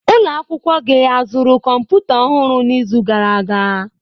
Ụlọ akwụkwọ gị azụrụ kọmputa ọhụrụ n'izu gara aga?